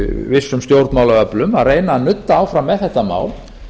vissum stjórnmálaöflum að reyna að nudda áfram með þetta mál